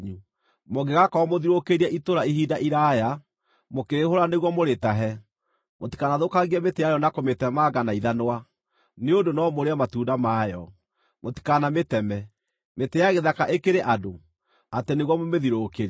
Mũngĩgaakorwo mũthiũrũrũkĩirie itũũra ihinda iraaya, mũkĩrĩhũũra nĩguo mũrĩtahe, mũtikanathũkangie mĩtĩ yarĩo na kũmĩtemanga na ithanwa, nĩ ũndũ no mũrĩe matunda mayo. Mũtikanamĩteme. Mĩtĩ ya gĩthaka ĩkĩrĩ andũ, atĩ nĩguo mũmĩthiũrũrũkĩrie?